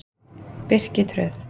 Birkitröð